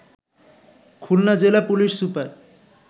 খুলনা জেলা police super